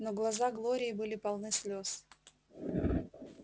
но глаза глории были полны слез